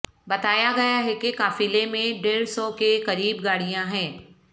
بتایا گیا ہے کہ قافلے میں ڈیڈھ سو کے قریب گاڑیاں ہیں